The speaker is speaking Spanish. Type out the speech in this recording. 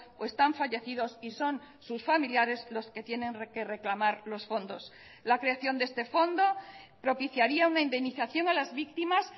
o están fallecidos y son sus familiares los que tienen que reclamar los fondos la creación de este fondo propiciaría una indemnización a las víctimas